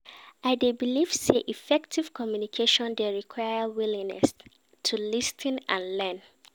I dey believe say effective communication dey require willingness to lis ten and learn.